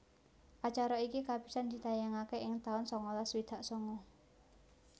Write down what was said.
Acara iki kapisan ditayangaké ing taun sangalas swidak sanga